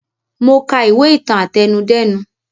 Mo ka ìwé ìtàn àtẹnudẹ́nu